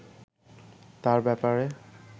তাঁর ব্যাপারে